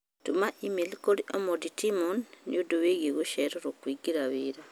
Tũma i-mīrū kũrĩ Omondi Timon nĩũndũ wĩgiĩ gũcererwo kũingĩra wĩra.